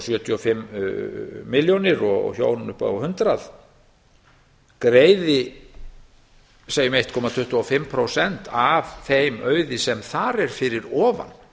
sjötíu og fimm milljónir og hjón upp á hundrað greiði segjum eitt komma tuttugu og fimm prósent af þeim auði sem þar er fyrir ofan